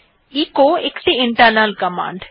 echo একটি internal command